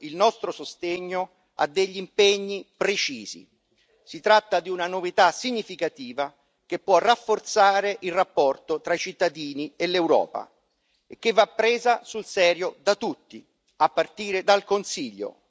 Si tratta di una novità significativa che può rafforzare il rapporto tra i cittadini e l'Europa e che va presa sul serio da tutti, a partire dal Consiglio, altrimenti il danno di credibilità sarà incalcolabile.